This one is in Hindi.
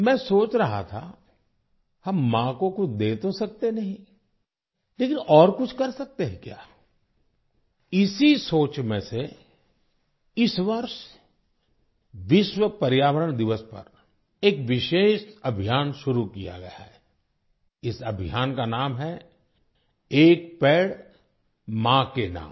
मैं सोच रहा था हम माँ को कुछ दे तो सकते नहीं लेकिन और कुछ कर सकते हैं क्या इसी सोच में से इस वर्ष विश्व पर्यावरण दिवस पर एक विशेष अभियान शुरू किया गया है इस अभियान का नाम है - 'एक पेड़ माँ के नाम'